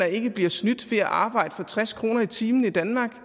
ikke bliver snydt ved at arbejde for tres kroner i timen i danmark